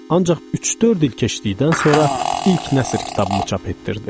Ancaq üç-dörd il keçdikdən sonra ilk nəsr kitabımı çap etdirdim.